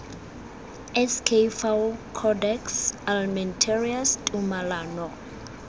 sk fao codex almentarius tumalano